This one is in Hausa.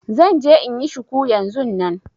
Zan je inyi shuku yanzun nan